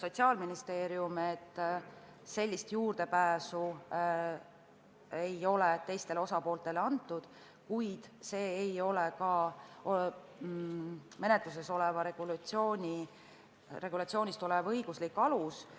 Sotsiaalministeeriumi esindaja selgitas, et sellise juurdepääsu õigust ei ole teistele osapooltele antud, kuid see ei ole menetluses olevast regulatsioonist tulenev õiguslik alus.